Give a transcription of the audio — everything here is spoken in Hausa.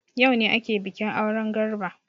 Yaune ake bikin auren Garba.